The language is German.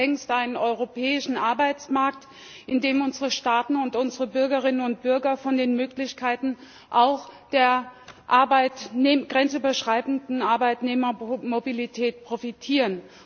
Wir haben ja längst einen europäischen Arbeitsmarkt, in dem unsere Staaten und unsere Bürgerinnen und Bürger von den Möglichkeiten auch der grenzüberschreitenden Arbeitnehmermobilität profitieren.